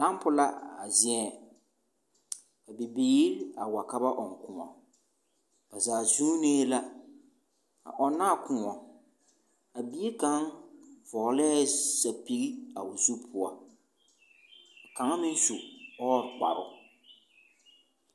Dampo la a zieŋ, ka bibiiri a wa ka ba ͻŋ kõͻ. Ba zaa zuunee la a ͻnnaa kõͻ. A bie kaŋa vͻgelԑԑ sapigi a o zu poͻ ka kaŋa meŋ su ͻͻre kparoo.